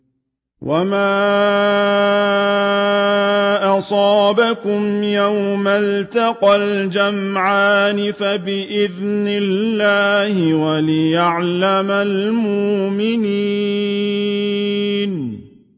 وَمَا أَصَابَكُمْ يَوْمَ الْتَقَى الْجَمْعَانِ فَبِإِذْنِ اللَّهِ وَلِيَعْلَمَ الْمُؤْمِنِينَ